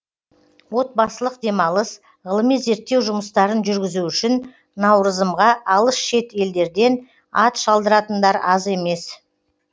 отбасылық демалыс ғылыми зерттеу жұмыстарын жүргізу үшін наурызымға алыс шет елдерден ат шалдыратындар аз емес